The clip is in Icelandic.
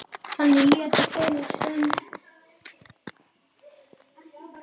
Þannig létu þeir um stund.